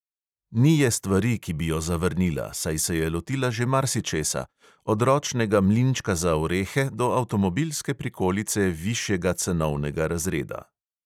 Ni je stvari, ki bi jo zavrnila, saj se je lotila že marsičesa, od ročnega mlinčka za orehe do avtomobilske prikolice višjega cenovnega razreda.